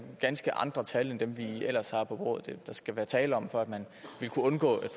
ganske andre tal end dem vi ellers har på bordet der skal være tale om for at man ville kunne undgå et